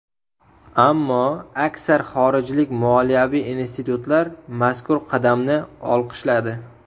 Ammo aksar xorijlik moliyaviy institutlar mazkur qadamni olqishladi.